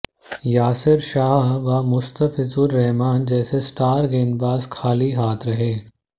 यासिर शाह व मुस्ताफिजुर रहमान जैसे स्टार गेंदबाज खाली हाथ रहे